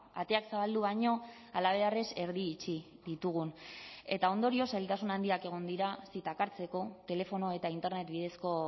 ateak zabaldu baino halabeharrez erdi itxi ditugun eta ondorioz zailtasun handiak egon dira zitak hartzeko telefono eta internet bidezko